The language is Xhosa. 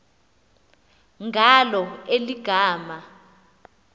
ngalo eli gama